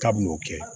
K'a b'o kɛ